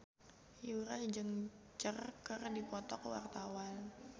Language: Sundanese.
Yura jeung Cher keur dipoto ku wartawan